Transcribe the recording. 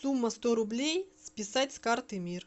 сумма сто рублей списать с карты мир